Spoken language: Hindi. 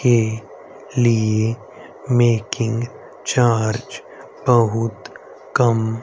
के लिए मेकिंग चार्ज बहुत कम--